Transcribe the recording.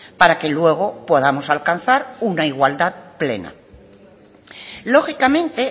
para que luego podamos alcanzar una igualdad plena lógicamente